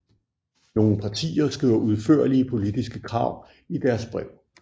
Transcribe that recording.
Nogle partier skriver udførlige politiske krav i deres brev